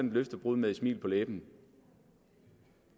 et løftebrud med et smil på læben